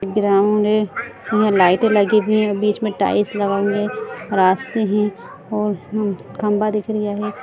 Ground है यहा लाइटें लगी हुई है बीच में टाइल्स लगल है रास्ते है और हु खंभा दिख रही है।